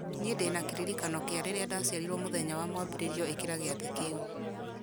niĩ ndĩna kĩririkano kĩa rĩrĩa ndaciarirwo mũthenya wa mwambĩrĩrio ĩkĩra gĩathĩ kiu